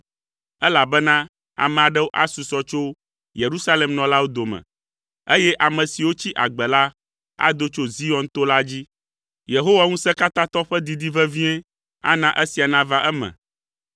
elabena ame aɖewo asusɔ tso Yerusalem nɔlawo dome, eye ame siwo tsi agbe la ado tso Zion to la dzi, Yehowa Ŋusẽkatãtɔ ƒe didi vevie ana esia nava eme.